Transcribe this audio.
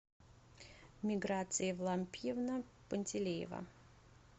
миграция евлампиевна пантелеева